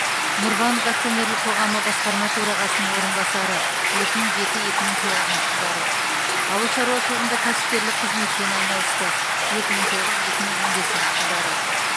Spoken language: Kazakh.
нұрбанк акционерлік қоғамы басқарма төрағасының орынбасары екі мың жеті екі мың тоғызыншы жылдары ауыл шаруашылығында кәсіпкерлік қызметпен айналысты екі мың тоғыз екі мың он бесінші жылдары